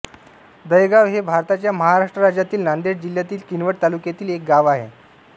दहेगाव हे भारताच्या महाराष्ट्र राज्यातील नांदेड जिल्ह्यातील किनवट तालुक्यातील एक गाव आहे